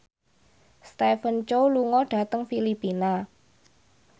Stephen Chow lunga dhateng Filipina